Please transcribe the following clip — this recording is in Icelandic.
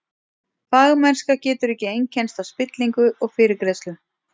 Fagmennska getur ekki einkennst af spillingu og fyrirgreiðslu.